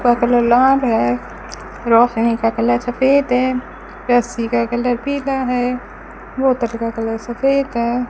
है रोशनी का कलर सफेद है रस्सी का कलर पीला है बोतल का कलर सफेद है।